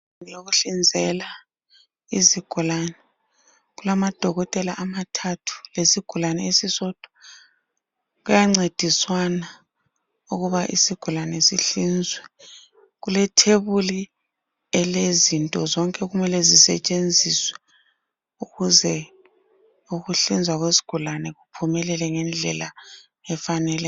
Indlu yokuhlinzela izigulane. Kulamadokotela amathathu lesigulane esisodwa. Kuyancediswana ukuba isigulane sihlinzwe. Kulethebuli elezinto zonke okumele zisetshenziswe ukuze ukuhlinzwa kwesigulane kuphumelele ngendlela efanele